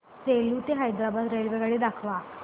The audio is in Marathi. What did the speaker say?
सेलू ते हैदराबाद रेल्वेगाडी दाखवा